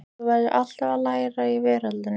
Þú verður alltaf að læra í veröldinni.